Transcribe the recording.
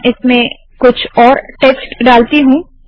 मैं इसमें कुछ और टेक्स्ट डालती हूँ